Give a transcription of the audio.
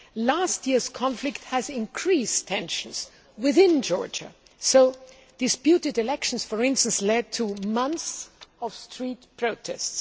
last year's conflict has increased tensions within Georgia. So disputed elections, for instance, led to months of street protests.